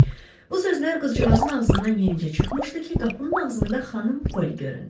Bu sözlər qızcığazın ağzından yenicə çıxmışdı ki, qapının ağzında xanım Poli göründü.